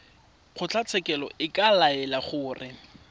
kgotlatshekelo e ka laela gore